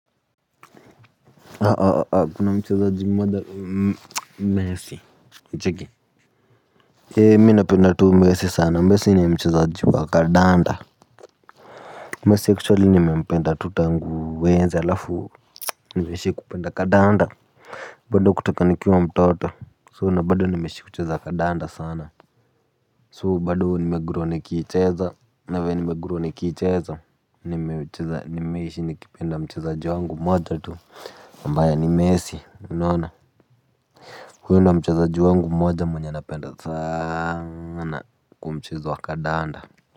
Kuna mchezaji mmoja messi unacheki ee mimi napenda tu messi sana messi ni mchezaji wa kandanda messi actually nimempenda tu tangu enzi halafu nime ishi ku penda kandanda bado kutoka nikiwa mtoto so na bado nimeishi kucheza kandanda sana so bado nime grow nikiicheza na venye nimegrow nikiicheza nimeishi nikipenda mchezaji wangu mmoja tu ambaye ni messi unaona huyo ndo mchezaji wangu mmoja mwenye napenda sana kwenye mchezo wa kandanda.